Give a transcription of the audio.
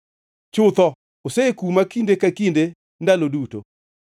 chutho osekuma kinde ka kinde ndalo duto.